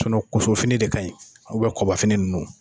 kosofini de ka ɲi kɔbafini ninnu.